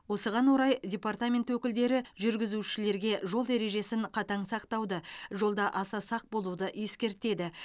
осыған орай департамент өкілдері жүргізушілерге жол ережесін қатаң сақтауды жолда аса сақ болуды ескертеді